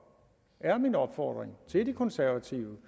er min opfordring til det konservative